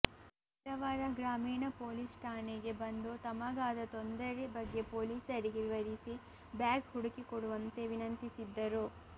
ಕಾರವಾರ ಗ್ರಾಮೀಣ ಪೊಲೀಸ್ ಠಾಣೆಗೆ ಬಂದು ತಮಗಾದ ತೊಂದರೆ ಬಗ್ಗೆ ಪೊಲೀಸರಿಗೆ ವಿವರಿಸಿ ಬ್ಯಾಗ್ ಹುಡುಕಿಕೊಡುವಂತೆ ವಿನಂತಿಸಿದ್ದರು